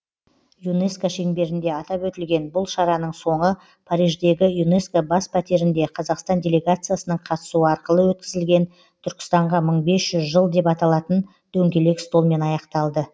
юнеско шеңберінде атап өтілген бұл шараның соңы париждегі юнеско бас пәтерінде қазақстан делегациясының қатысуы арқылы өткізілген түркістанға мың бес жүз жыл деп аталатын дөңгелек столмен аяқталды